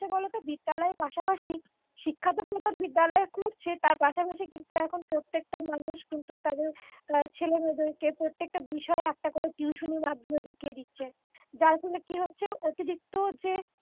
কি বলতো বিদ্যালয়ের পাশাপাশি শিক্ষা তো এতজন বিদ্যালয় কুরছে তার পাশাপাশি প্রত্যেকটা মানুষ কিন্তু তাদের ছেলেমেয়েদেরকে প্রত্যেকটা বিষয়ে একটা করে টিউশনি মাধ্যমে ঢুকিয়ে দিচ্ছে যার ফলে কি হচ্ছে অতিরিক্ত যে